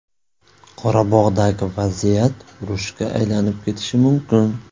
Qorabog‘dagi vaziyat urushga aylanib ketishi mumkin.